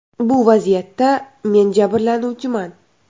Bu vaziyatda men jabrlanuvchiman.